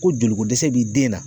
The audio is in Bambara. Kojolikodɛsɛ b'i den na